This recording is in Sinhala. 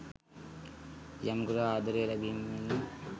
යමෙකුට ආදරය ලැබීම මෙන්ම